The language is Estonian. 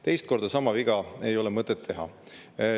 Teist korda sama viga ei ole mõtet teha.